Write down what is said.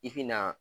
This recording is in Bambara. I bi na